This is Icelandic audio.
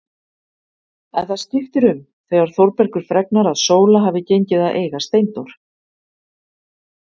En það skiptir um þegar Þórbergur fregnar að Sóla hafi gengið að eiga Steindór.